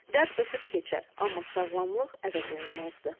Dəb ötüb keçər, amma sağlamlıq əvəzolunmazdır.